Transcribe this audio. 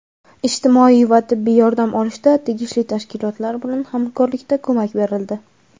ijtimoiy va tibbiy yordam olishda tegishli tashkilotlar bilan hamkorlikda ko‘mak berildi.